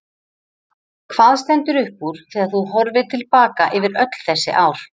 Hvað stendur upp úr þegar þú horfir til baka yfir öll þessi ár?